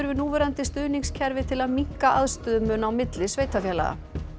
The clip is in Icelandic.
núverandi stuðningskerfi til að minnka aðstöðumun á milli sveitarfélaga